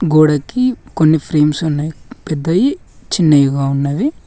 గోడకి కొన్ని ఫ్రేమ్స్ ఉన్నాయి పెద్దవి చిన్నవిగా ఉన్నవి.